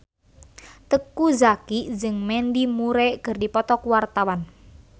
Teuku Zacky jeung Mandy Moore keur dipoto ku wartawan